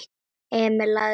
Emil lagði tólið á.